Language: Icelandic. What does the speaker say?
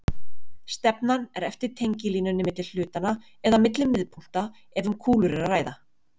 Stefnan er eftir tengilínunni milli hlutanna eða milli miðpunkta ef um kúlur er að ræða.